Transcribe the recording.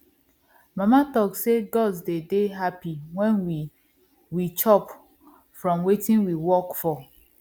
mama talk say gods dey dey happy when we we chop from wetin we work for